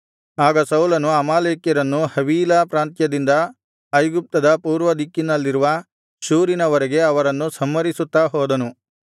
ಆಗ ಸೌಲನು ಅಮಾಲೇಕ್ಯರನ್ನು ಹವೀಲಾ ಪ್ರಾಂತ್ಯದಿಂದ ಐಗುಪ್ತದ ಪೂರ್ವದಿಕ್ಕಿನಲ್ಲಿರುವ ಶೂರಿನವರೆಗೆ ಅವರನ್ನು ಸಂಹರಿಸುತ್ತಾ ಹೋದನು